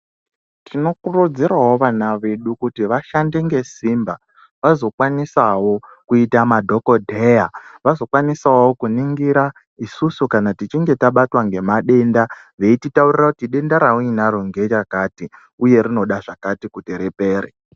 Tinokuridzirawo vana vedu kuti vashande nesimba vazokwanisawo kuita madhokodheya vazokwanisawo kuningira isusu kana tichinge tabatwa nemadenda veititaurira kuti denda rakati ndera kati uye rinoda zvakato kuti ripere.